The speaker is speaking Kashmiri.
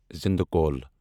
زندہ کول